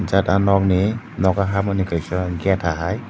jata nog ni nogo habani kaisa geta hai.